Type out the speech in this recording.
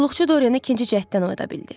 Qulluqçu Dorienə ikinci cəhddən oyada bildi.